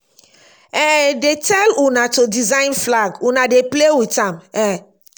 um dey tell una to design flag una dey play with am um